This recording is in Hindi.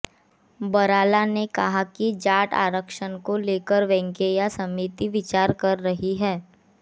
बराला ने कहा कि जाट आरक्षण को लेकर वेंकैया समिति विचार कर रही है